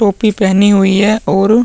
टोपी पहनी हुई है और --